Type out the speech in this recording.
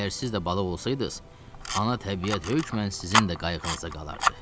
Əgər siz də balıq olsaydınız, ana təbiət hökmən sizin də qayğınıza qalardı.